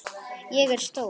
Ég er stór.